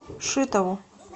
шитову